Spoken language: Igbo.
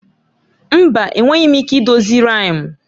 Mba! Enweghị m ike idozi riimu.